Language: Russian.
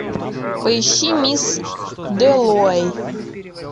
поищи мисс дэллоуэй